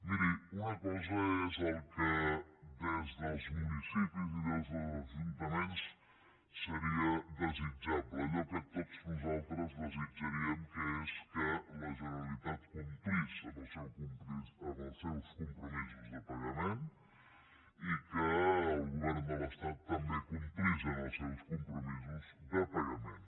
miri una cosa és el que des dels municipis i des dels ajuntaments seria desitjable allò que tots nosaltres desitjaríem que és que la generalitat complís amb els seus compromisos de pagament i que el govern de l’estat també complís amb els seus compromisos de pagament